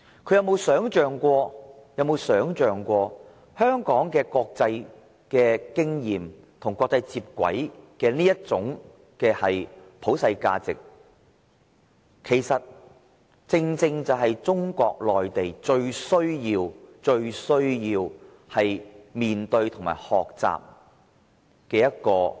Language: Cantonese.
他可有想過香港的國際經驗，以及與國際接軌的這種普世價值，正正是中國內地最需要面對和學習的。